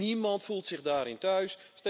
Niemand voelt zich daarin thuis.